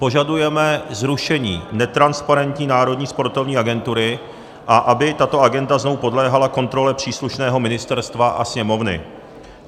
Požadujeme zrušení netransparentní Národní sportovní agentury, a aby tato agenda znovu podléhala kontrole příslušného ministerstva a Sněmovny.